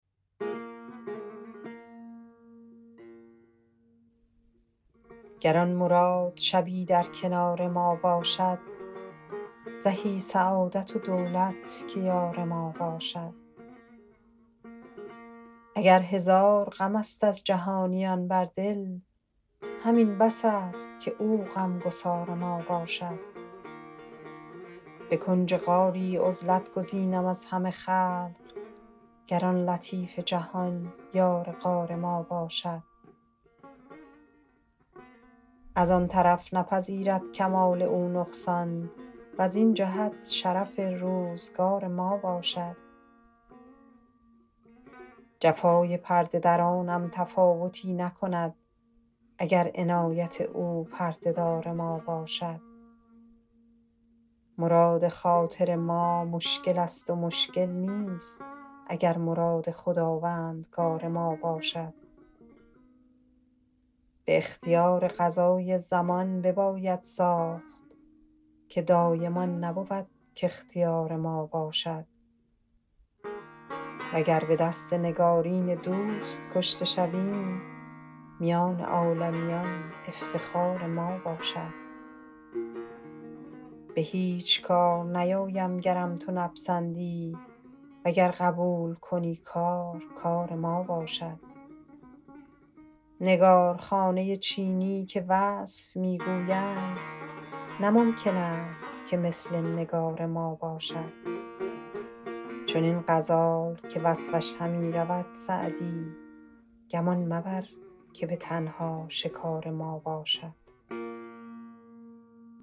گر آن مراد شبی در کنار ما باشد زهی سعادت و دولت که یار ما باشد اگر هزار غم است از جهانیان بر دل همین بس است که او غم گسار ما باشد به کنج غاری عزلت گزینم از همه خلق گر آن لطیف جهان یار غار ما باشد از آن طرف نپذیرد کمال او نقصان وزین جهت شرف روزگار ما باشد جفای پرده درانم تفاوتی نکند اگر عنایت او پرده دار ما باشد مراد خاطر ما مشکل است و مشکل نیست اگر مراد خداوندگار ما باشد به اختیار قضای زمان بباید ساخت که دایم آن نبود کاختیار ما باشد وگر به دست نگارین دوست کشته شویم میان عالمیان افتخار ما باشد به هیچ کار نیایم گرم تو نپسندی وگر قبول کنی کار کار ما باشد نگارخانه چینی که وصف می گویند نه ممکن است که مثل نگار ما باشد چنین غزال که وصفش همی رود سعدی گمان مبر که به تنها شکار ما باشد